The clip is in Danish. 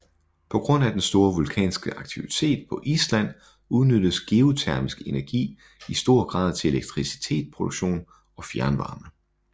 På grund af den store vulkanske aktivitet på Island udnyttes geotermisk energi i stor grad til elektricitetsproduktion og fjernvarme